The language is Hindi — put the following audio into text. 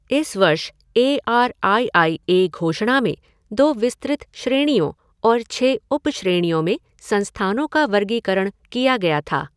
इस वर्ष A R I I A घोषणा में दो विस्तृत श्रेणियों और छह उप श्रेणियों में संस्थानों का वर्गीकरण किया गया था।